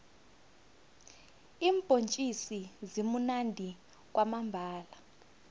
iimbhontjisi zimunandi kwamambhala